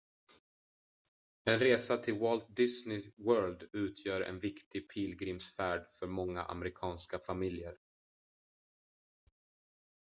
en resa till walt disney world utgör en viktig pilgrimsfärd för många amerikanska familjer